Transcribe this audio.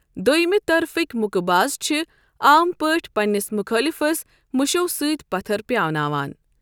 دوٚیمِہ طَرفٕکۍ مُکہ باز چھِ عام پٲٹھۍ پنِنِس مُخٲلفس مُشَو سۭتۍ پَتَر پیاناوان۔